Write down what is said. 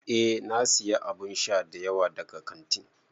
Eh na siya abun sha dayawa daga kantin.